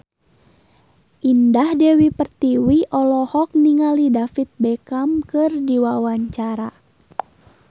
Indah Dewi Pertiwi olohok ningali David Beckham keur diwawancara